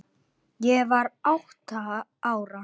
Ég var átta ára.